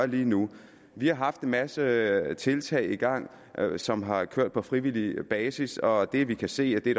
lige nu vi har haft en masse tiltag i gang som har kørt på frivillig basis og det vi kan se og det